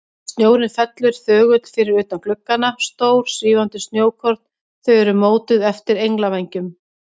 Snjórinn fellur þögull fyrir utan gluggana, stór, svífandi snjókorn, þau eru mótuð eftir englavængjum.